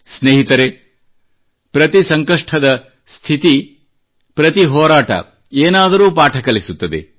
ಸ್ನೇಹಿತರೆ ಪ್ರತಿ ಸಂಕಷ್ಟದ ಸ್ಥಿತಿ ಪ್ರತಿ ಹೋರಾಟ ಏನಾದರೂ ಪಾಠ ಕಲಿಸುತ್ತದೆ